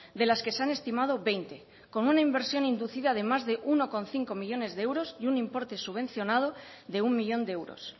de las que se han estimado veinte con una inversión inducida además de uno coma cinco millónes de euros y un importe subvencionado de uno millón de euros